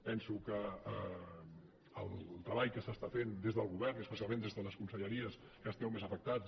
penso que el treball que s’està fent des del govern i especialment des de les conselleries que esteu més afectades